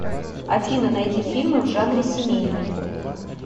афина найди фильмы в жанре семейный